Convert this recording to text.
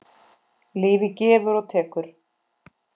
Lífið gefur og tekur.